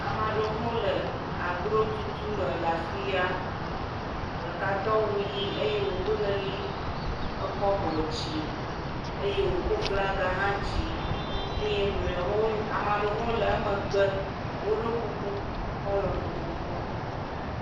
Ame aɖewo hã le ahlotutu me le afi ya, ame ɖeka do awu ʋɛ̃, eye wòdo leli, ekɔ abɔ dzi eye wòkɔ aflagã hã dzi eye mlɔewo ame ɖewo hã le wo megbe, woɖo kuku kɔla vovovowo.